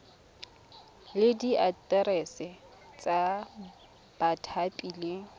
le diaterese tsa bathapi le